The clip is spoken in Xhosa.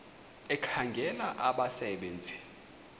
ekhangela abasebe nzi